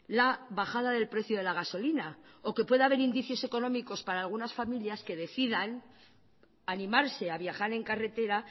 la bajada del precio de la gasolina o que pueda haber indicios económicos para algunas familias que decidan animarse a viajar en carretera